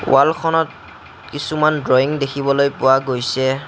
ৱালখনত কিছুমান ড্ৰয়িং দেখিবলৈ পোৱা গৈছে।